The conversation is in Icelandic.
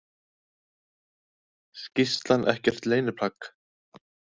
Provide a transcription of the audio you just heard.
Skýrslan ekkert leyniplagg